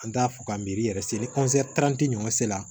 An t'a fɔ k'a miiri yɛrɛ se ni ɲuman sela